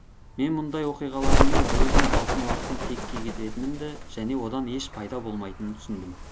мен мұндай оқиғаларыммен біреудің алтын уақытын текке кетіретінімді және одан еш пайда болмайтынын түсіндім